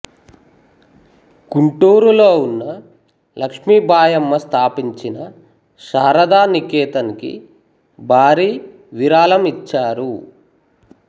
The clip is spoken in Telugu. గుంటూరులో ఉన్నవ లక్ష్మీబాయమ్మ స్థాపించిన స్థాపించిన శారదా నికేతన్ కి భూరి విరాళం ఇచ్చారు